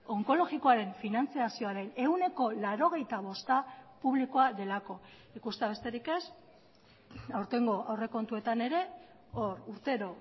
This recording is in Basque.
onkologikoaren finantzazioaren ehuneko laurogeita bosta publikoa delako ikustea besterik ez aurtengo aurrekontuetan ere hor urtero